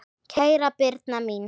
Kæra Birna mín.